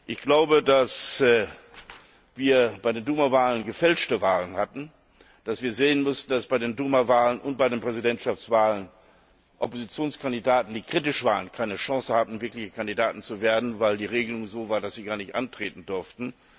Ich glaube, dass wir bei den Duma Wahlen gefälschte Wahlen hatten, dass wir sehen müssten, dass bei den Duma Wahlen und bei den Präsidentschaftswahlen Oppositionskandidaten, die kritisch waren, keine Chance hatten, wirklich Kandidaten zu werden, weil die Regelung so war, dass sie gar nicht antreten durften.